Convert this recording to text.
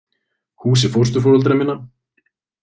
Húsi fósturforeldra minna.